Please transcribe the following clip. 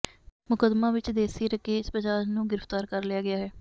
ਮੁੱਕਦਮਾ ਵਿੱਚ ਦੇਸੀ ਰਕੇਸ ਬਜਾਜ ਨੂੰ ਗ੍ਰਿਫਤਾਰ ਕਰ ਲਿਆ ਗਿਆ ਹੈ